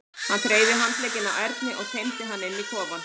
Hann þreif í handlegginn á Erni og teymdi hann inn í kofann.